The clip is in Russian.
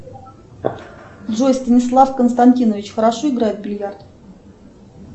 джой станислав константинович хорошо играет в бильярд